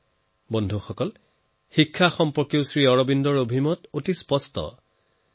বন্ধুসকল এনেদৰে শিক্ষাক লৈও শ্ৰী অৰবিন্দৰ বিচাৰ বহুত স্পষ্ট আছিল